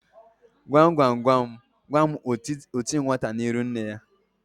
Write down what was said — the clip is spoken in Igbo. Gwam gwam gwam gwam oti nwata n'iru nne ya?